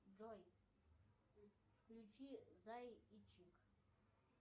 джой включи зай и чик